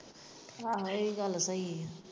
ਆਹੋ ਇਹ ਗੱਲ ਸਹੀ ਹੀ।